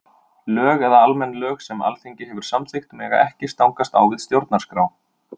Lög eða almenn lög sem Alþingi hefur samþykkt mega ekki stangast á við stjórnarskrá.